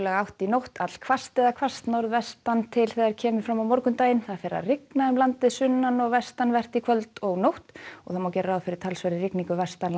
átt í nótt allhvasst eða hvasst norðvestan til þegar kemur fram á morgundaginn fer að rigna um landið sunnan og vestanvert í kvöld og nótt og má gera ráð fyrir talsverðri rigningu